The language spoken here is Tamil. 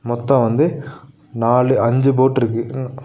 மொத்தோ வந்து நாலு அஞ்சு போட் ருக்கு ம்.